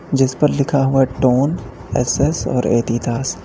जिस पर लिखा हुआ है टोन एस_एस और एडीडास ।